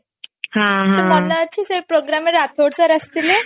ମନେ ଅଛି ସେ programme ରେ ରାଥୋଡ sir ଆସିଥିଲେ